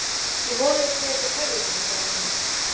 Ég vona að ég sé ekki að tefja þig, sagði hann.